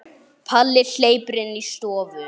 Palli hleypur inn í stofu.